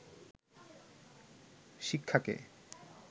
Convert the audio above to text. শিক্ষাকে